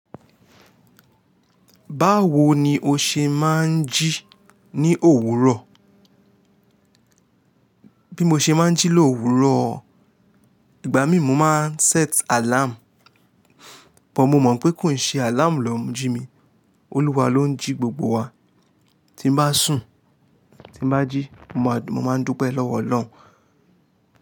Báwo ni o ṣe máa ń jí ní òwúrọ̀? Bí mo ṣe máa ń jí lówurọ̀, ìgbà mí mo máa ń set alarm, but mo mọ̀ pé kò ń ṣe alarm lọ n jí mi. Olúwa ló ń jí gbogbo wa. Tí mo bá sùn, tí mo bá jí, mo máa ń dúpẹ́ lọ́wọ́ Ọlọ́run.